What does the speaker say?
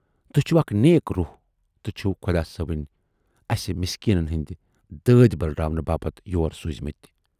تُہۍ چھِوٕ اَکھ نیٖک روٗح تہٕ چھِوٕ خۅدا صٲبَن اَسہِ مِسکیٖنن ہٕندۍ دٲدۍ بٔلراونہٕ باپتھ یور سوٗزۍمٕتۍ۔